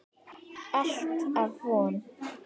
Alltaf von.